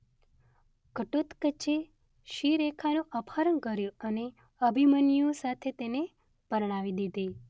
ઘટોત્કચે શિરેખાનું અપહરણ કર્યું અને અભિમન્યુ સાથે તેને પરણાવી દીધી